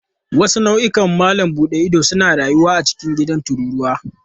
Wasu nau'ikan malam buɗe ido suna rayuwa a cikin gidan tururuwa.